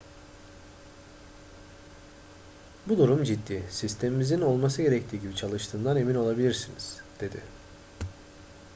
bu durum ciddi sistemimizin olması gerektiği gibi çalıştığından emin olabilirsiniz dedi